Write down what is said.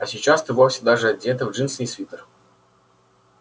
а сейчас ты вовсе даже одета в джинсы и свитер